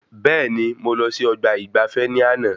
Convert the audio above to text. Bẹẹni, mo lọ sí ọgbà ìgbafé ní àna